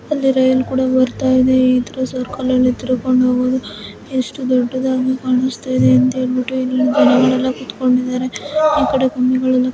ಅಲ್ಲಿ ರೈಲ್ ಕೂಡಾ ಬರ್ತಾ ಇದೆ ಈ ಸರ್ಕಲಲ್ಲಿ ತಿರ್ಕೊಂಡ್ ಹೋಗೋದು ಎಷ್ಟ್ ದೊಡ್ಡದಾಗಿ ಕಾಣಿಸ್ತಾ ಇದೆ ಅಂತ ಹೇಳ್ಬಿಟ್ಟು ಇಲ್ಲಿ ಜನಗಳೆಲ್ಲಾ ಕೂತ್ಕೊಂಡಿದ್ದಾರೆ. ಈಕಡೆ --